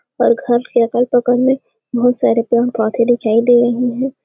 और घर के अगल-बगल मे बहुत सारे पेड़-पौधे दिखाई दे रहे हैं।